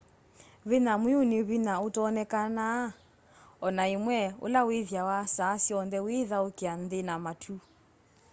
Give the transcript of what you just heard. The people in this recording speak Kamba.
vinya mwiu ni vinya utonekaa ona imwe ula withiawa saa syonthe withaukia nthi na matu